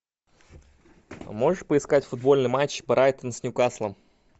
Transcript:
можешь поискать футбольный матч брайтон с ньюкаслом